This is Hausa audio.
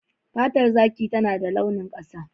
Fatar zaki tana da launin ƙasa.